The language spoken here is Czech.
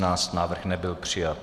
Návrh nebyl přijat.